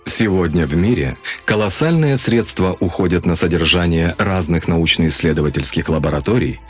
сегодня в мире колоссальные средства уходят на содержание разных научно-исследовательских лабораторий